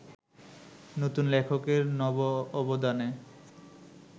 নতুন লেখকের নব অবদানে